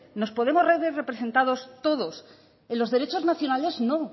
nos podemos ver representados todos en los derechos nacionales no